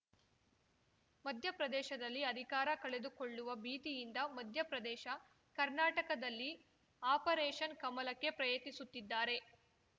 ಮಧ್ಯ ಪ್ರದೇಶದಲ್ಲಿ ಅಧಿಕಾರ ಕಳೆದುಕೊಳ್ಳುವ ಭೀತಿಯಿಂದ ಮಧ್ಯ ಪ್ರದೇಶ ಕರ್ನಾಟಕದಲ್ಲಿ ಆಪರೇಷನ್‌ ಕಮಲಕ್ಕೆ ಪ್ರಯತ್ನಿಸುತ್ತಿದ್ದಾರೆ